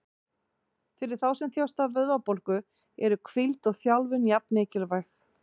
Fyrir þá sem þjást af vöðvabólgu eru hvíld og þjálfun jafn mikilvæg.